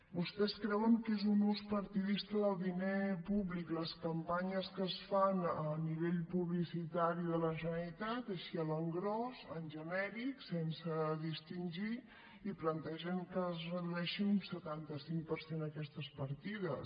vostès creuen que és un ús partidista del diner públic les campanyes que es fan a nivell publicitari de la generalitat així a l’engròs en genèric sense distingir i plantegen que es redueixin un setanta cinc per cent aquestes partides